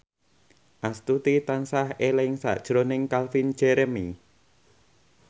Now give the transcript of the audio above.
Astuti tansah eling sakjroning Calvin Jeremy